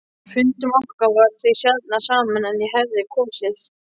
Fundum okkar bar því sjaldnar saman en ég hefði kosið.